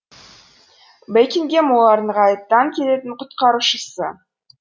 бекингэм олардың ғайыптан келетін құтқарушысы